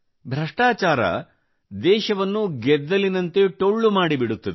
ಭ್ರಷ್ಟಾಚಾರ ದೇಶವನ್ನು ಗೆದ್ದಲಿನಂತೆ ಟೊಳ್ಳು ಮಾಡಿಬಿಡುತ್ತದೆ